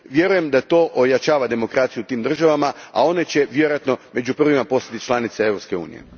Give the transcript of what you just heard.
Vjerujem da to ojačava demokraciju u tim državama, a one će vjerojatno među prvima postati članice Europske unije.